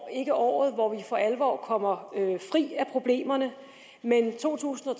ikke året hvor vi for alvor kommer fri af problemerne men to tusind og